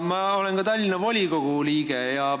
Ma olen ka Tallinna volikogu liige.